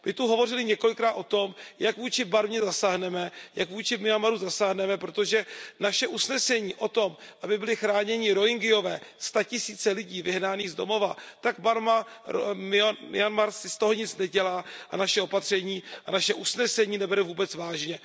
My zde hovořili několikrát o tom, jak vůči Barmě zasáhneme, jak vůči Myanmaru zasáhneme, protože naše usnesení o tom, aby byli chráněni Rohyngiové, statisíce lidí vyhnaných z domova, tak Barma Myanmar si z toho nic nedělá a naše opatření, naše usnesení nebere vůbec vážně.